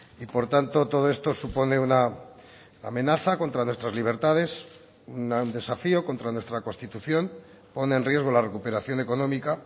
y por tanto todo esto supone una amenaza contra nuestras libertades un desafío contra nuestra constitución pone en riesgo la recuperación económica